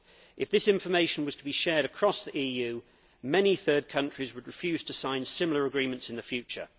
If this information was to be shared across the EU, many third countries would refuse to sign similar agreements in the future.